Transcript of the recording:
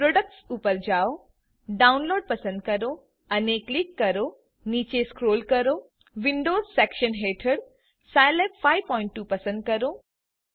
products ઉપર જાઓ download પસંદ કરો અને ક્લિક કરો નીચે સ્ક્રોલ કરો વિન્ડોઝ સેક્શન હેઠળ સ્કિલાબ52 પસંદ કરો